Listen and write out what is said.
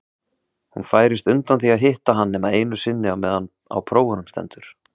Hún færist undan því að hitta hann nema einu sinni á meðan á prófunum stendur.